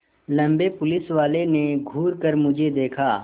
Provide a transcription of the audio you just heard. लम्बे पुलिसवाले ने घूर कर मुझे देखा